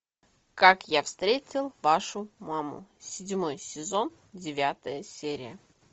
как я встретил вашу маму седьмой сезон девятая серия